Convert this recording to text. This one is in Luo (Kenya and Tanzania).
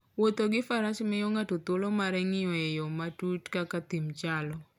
Wuotho gi Faras miyo ng'ato thuolo mar ng'iyo e yo matut kaka thim chalo.